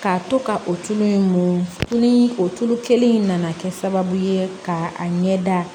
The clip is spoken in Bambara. K'a to ka o tulu in mun tu tulu o tulu kelen in nana kɛ sababu ye ka a ɲɛ da